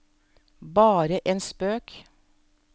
bare en spøk